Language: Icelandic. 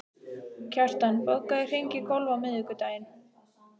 Kjartan, bókaðu hring í golf á miðvikudaginn.